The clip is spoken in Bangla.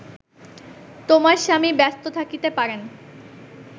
তোমার স্বামী ব্যস্ত থাকিতে পারেন